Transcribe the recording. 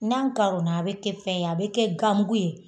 N'a karona a bɛ kɛ fɛn ye, a bɛ kɛ gan mugu ye.